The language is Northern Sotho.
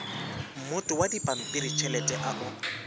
mmoto wa dipampiritšhelete a o